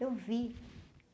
Eu vi.